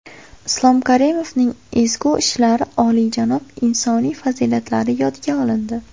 Islom Karimovning ezgu ishlari, oliyjanob insoniy fazilatlari yodga olindi.